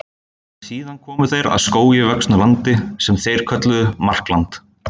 Síðan komu þeir að skógi vöxnu landi sem þeir kölluðu Markland.